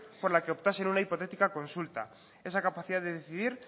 por la que optasen una hipotética consulta esa capacidad de decidir